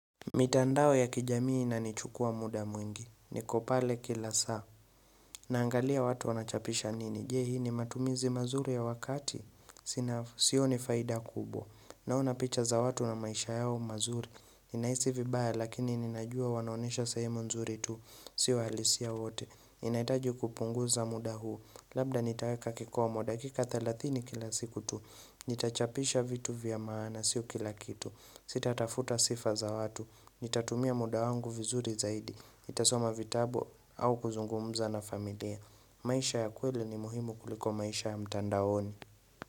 Mitandao ya kijamii inanichukua mda mwingi, niko pale kila saa, naangalia watu wanachapisha nini, je hii ni matumizi mazuri ya wakati, sina sioni faida kubwa, naona picha za watu na maisha yao mazuri, ninahisi vibaya lakini ninajua wanaonesha sehemu nzuri tu, sio halisia wote, ninahitaji kupunguza mda huu, labda nitaeka kikomo dakika thelathini kila siku tu, nitachapisha vitu vya maana, sio kila kitu, sitatafuta sifa za watu, Nitatumia mda wangu vizuri zaidi, nitasoma vitabu au kuzungumuza na familia maisha ya kweli ni muhimu kuliko maisha ya mtandaoni.